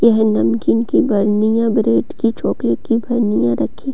यह नमकीन की बर्निया ब्रेड की चॉकलेट की बर्निया रखी --